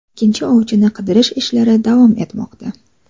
Ikkinchi ovchini qidirish ishlari davom etmoqda.